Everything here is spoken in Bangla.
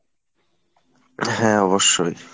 হ্যাঁ অবশ্যই।